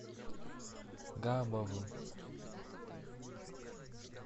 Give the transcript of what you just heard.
габовым